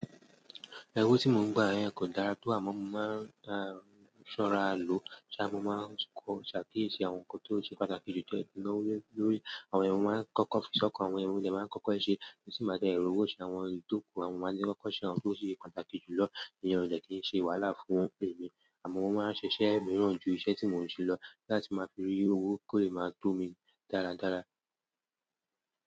Owo ti mo n gba yen ko dára to, amo, mo ma n sora lo, mo maa n sakiyesi àwọn nkan to se pàtàkì ju ti mo maa n na owo le lórí àwọn yen ni mo máa ń kọ́kọ́ fi s'ọ́kan, àwọn yen ni mo dẹ máa ń kọ́kọ́ ṣe, tí n bàá de ri owó ṣe àwọn èyí tóku, àwọn máa ń kọ́kọ́ ṣe àwọn ohun tó ṣe pàtàkì jùlọ ìyẹn o dẹ̀ kí í ṣe wàhálà fún ẹmi, àmọ́ mọ́ máa ń ṣiṣẹ̀ mìíràn ju iṣẹ́ tí mò ń ṣe lọ láti máa fi rí owo, kó lè máa tó mi dáradára.